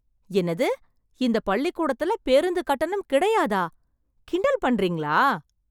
என்னது இந்த பள்ளிக்கூடத்துல பேருந்து கட்டணம் கிடையாதா? கிண்டல் பண்றீங்களா?